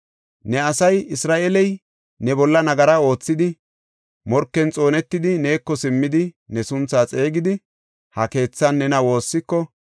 “Ne asay Isra7eeley ne bolla nagara oothidi, morken xoonetidi, neeko simmidi, ne sunthaa xeegidi, ha keethan nena woossiko,